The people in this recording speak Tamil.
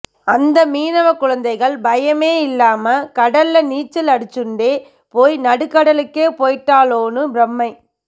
அந்த மீனவக் குழந்தைகள் பயமே இல்லாம கடல்ல நீச்சல் அடிச்சுண்டே போய் நடுக்கடலுக்கே போய்ட்டாளோன்னு ப்ரமை